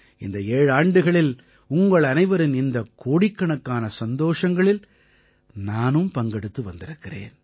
இந்த ஏழாண்டுகளில் உங்களனைவரின் இந்தக் கோடிக்கணக்கான சந்தோஷங்களில் நான் பங்கெடுத்து வந்திருக்கிறேன்